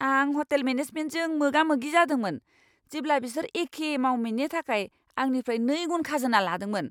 आं ह'टेल मेनेजमेन्टजों मोगा मोगि जादोंमोन, जेब्ला बिसोर एखे मावमिननि थाखाय आंनिफ्राय नैगुन खाजोना लादोंमोन।